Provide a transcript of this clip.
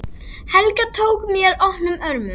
Helga tók mér opnum örmum.